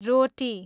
रोटी